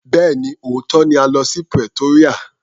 Bẹ́ẹ̀ni, òótọ́ ni a lọ sí Pretoria.